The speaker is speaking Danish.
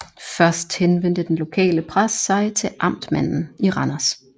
Først henvendte den lokale præst sig til amtmanden i Randers